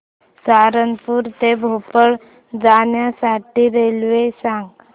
सहारनपुर ते भोपाळ जाण्यासाठी रेल्वे सांग